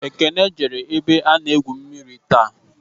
Ekene jere ebe a n'egwu mmiri taa